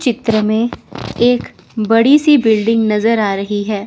चित्र में एक बड़ी सी बिल्डिंग नजर आ रही है।